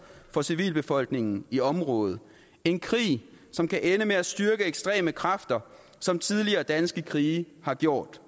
for civilbefolkningen i området en krig som kan ende med at styrke ekstreme kræfter som tidligere danske krige har gjort